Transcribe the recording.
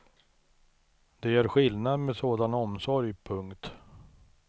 Det gör skillnad med sådan omsorg. punkt